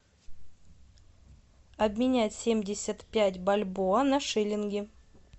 обменять семьдесят пять бальбоа на шиллинги